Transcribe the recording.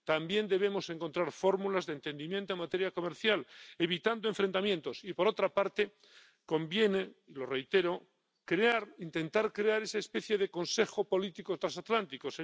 También debemos encontrar fórmulas de entendimiento en materia comercial, evitando enfrentamientos y, por otra parte, conviene —lo reitero-intentar crear esa especie de consejo político transatlántico